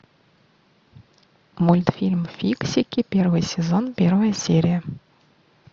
мультфильм фиксики первый сезон первая серия